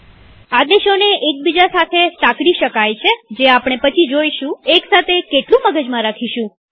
આદેશોને એક બીજા સાથે સાંકળી શકાય છે જે આપણે પછી જોઈશુંએક સાથે કેટલું મગજમાં રાખીશું